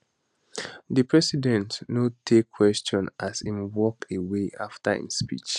di president no take question as im walk away afta im speech